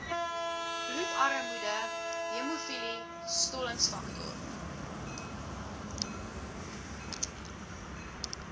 bloedarmoede hemofilie stollingsfaktor